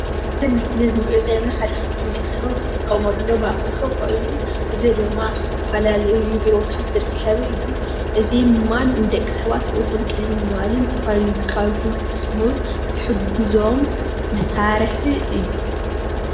እዚ ኣብ ምስሊ እንሪኦ ዘለና ሓደ ካብቶም ደቂ ሰባት ዝጥቀመሎም ኣቑሑ ኮይኑ እዚ ድማ ዝተፈላለዩ ቢሮታት ዝርከብ እዩ፡፡ እዚ ድማ ንደቂ ሰባት ሂወቶም ቅልል ንምባልን ዝተፈላለዩ ግልጋሎት ንክፍፅሙን ዝሕግዞም መሳርሒ እዩ፡፡